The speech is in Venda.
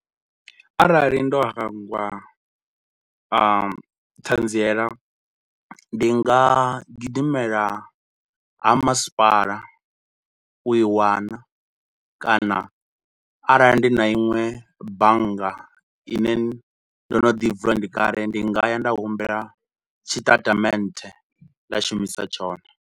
Arali ndo hangwa ṱhanziela ndi nga gidimela ha masipala u i wana kana arali ndi na iṅwe bannga ine ndo no ḓi vula, ndi kale, ndi nga ya nda humbela tshi tatamennde nda shumisa tshone.